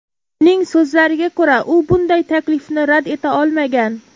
Uning so‘zlariga ko‘ra, u bunday taklifni rad eta olmagan.